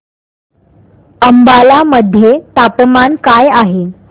अंबाला मध्ये तापमान काय आहे